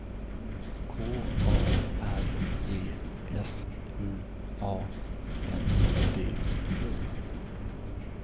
K A R E S U A N D O